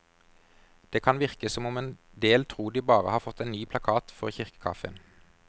Det kan virke som om en del tror de bare har fått en ny plakat for kirkekaffen.